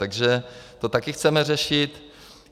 Takže to také chceme řešit.